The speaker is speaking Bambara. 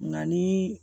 Nka ni